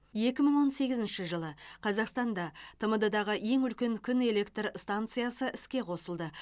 екі мың он сегізінші жылы қазақстанда тмд дағы ең үлкен күн электр станциясы іске қосылды